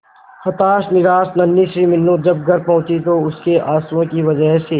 हताश निराश नन्ही सी मीनू जब घर पहुंची तो उसके आंसुओं की वजह से